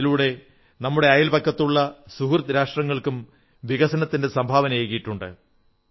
അതിലൂടെ നമ്മുടെ അയൽപക്കത്തുള്ള സുഹൃദ് രാഷ്ട്രങ്ങൾക്കും വികസനത്തിന്റെ സംഭാവനയേകിയിട്ടുണ്ട്